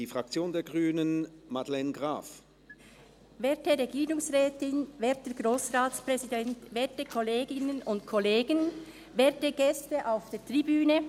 Wir kommen zu den Fraktionsvoten, zuerst Grossrätin Graf für die Grünen.